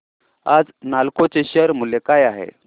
आज नालको चे शेअर मूल्य काय आहे